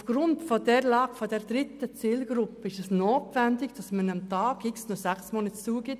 Aufgrund dieser dritten Zielgruppe ist es notwendig, diesen Personen am Tag X noch sechs Monate Zeit zu geben.